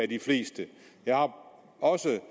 de fleste jeg har også